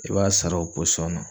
I b'a sara o posɔn na.